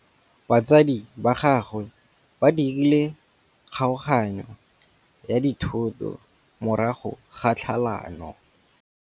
Batsadi ba gagwe ba dirile kgaoganyô ya dithoto morago ga tlhalanô.